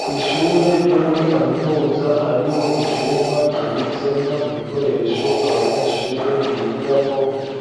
ku ishure ryo muri kaminuza hariho icumba kibitsemwo ibikoresho abanyeshure bigirako